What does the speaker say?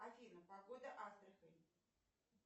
афина погода астрахань